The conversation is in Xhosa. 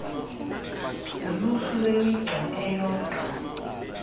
luluhlu lwemigca eyodwa